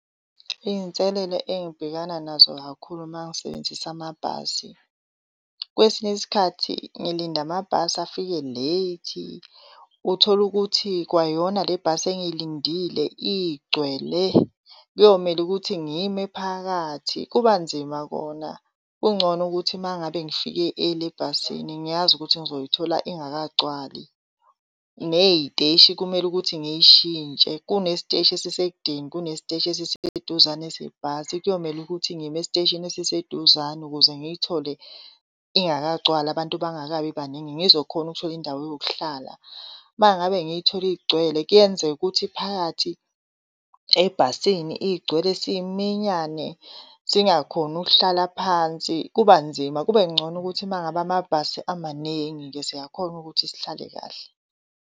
Iy'nselele engibhekana nazo kakhulu mangisebenzisa amabhasi, kwesinye isikhathi ngilinde amabhasi afike late uthole ukuthi kwayona le bhasi engiyilindile igcwele kuyomele ukuthi ngime phakathi. Kuba nzima kona. Kungcono ukuthi mangabe ngifike early ebhasini ngiyazi ukuthi ngizoyithola ingakagcwali. Ney'teshi kumele ukuthi ngiy'shintshe. Kunesiteshi esisekudeni, kunesiteshi esiseduzane sebhasi. Kuyomele ukuthi ngime esiteshini esiseduzane ukuze ngiyithole ingakagcwali abantu bangakabi baningi ngizokhona ukuthola indawo yokuhlala. Mangabe ngiyithole igcwele kuyenzeka ukuthi phakathi ebhasini igcwele siminyane singakhoni ukuhlala phansi, kuba nzima. Kube ngcono ukuthi mangabe amabhasi amaningi-ke siyakhona ukuthi sihlale kahle.